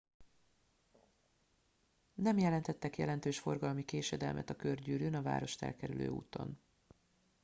nem jelentettek jelentős forgalmi késedelmet a körgyűrűn a várost elkerülő úton